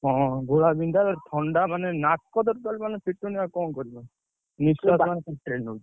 ହଁ, ଘୋଳା ବିନ୍ଧା ଥଣ୍ଡା ମାନେ, ନାକ ତ total ମାନେ ଫିଟୁନି ଆଉ କଣ କରିବି ଆଉ।